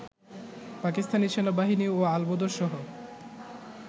পাকিস্তানি সেনাবাহিনী ও আল-বদরসহ